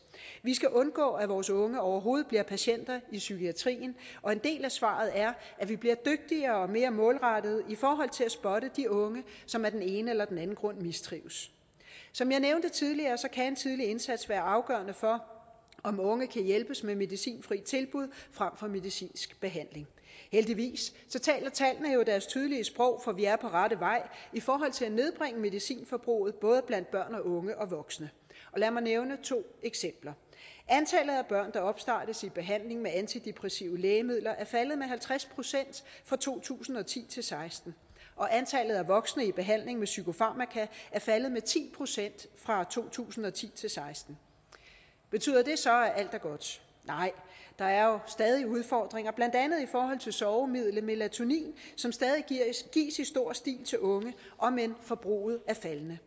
vi skal undgå at vores unge overhovedet bliver patienter i psykiatrien og en del af svaret er at vi bliver dygtigere og mere målrettede i forhold til at spotte de unge som af den ene eller den anden grund mistrives som jeg nævnte tidligere kan en tidlig indsats være afgørende for om unge kan hjælpes med medicinfri tilbud frem for medicinsk behandling heldigvis taler tallene jo deres tydelige sprog for vi er på rette vej i forhold til at nedbringe medicinforbruget både blandt børn og unge og voksne lad mig nævne to eksempler antallet af opstartes i behandling med antidepressive lægemidler er faldet med halvtreds procent fra to tusind og ti til seksten og antallet af voksne i behandling med psykofarmaka er faldet med ti procent fra to tusind og ti til seksten betyder det så at alt er godt nej der er jo stadig udfordringer blandt andet i forhold til sovemidlet melatonin som stadig gives i stor stil til unge omend forbruget er faldende